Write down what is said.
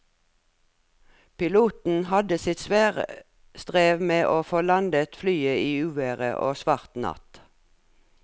Piloten hadde sitt svare strev med å få landet flyet i uvær og svart natt.